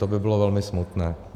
To by bylo velmi smutné.